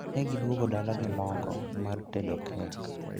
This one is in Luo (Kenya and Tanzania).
negiduogo dala gi mogo mar tedo kek